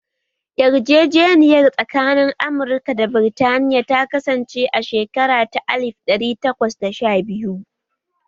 Yarjejeniyar tsakanin Amurka da Burtaniya ta kasance a shekara ta alif ɗari takwas da sha biyu